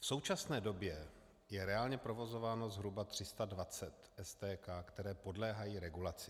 V současné době je reálně provozováno zhruba 320 STK, které podléhají regulaci.